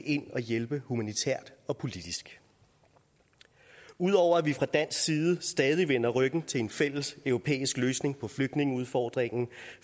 ind og hjælpe humanitært og politisk ud over at vi fra dansk side stadig vender ryggen til en fælles europæisk løsning på flygtningeudfordringen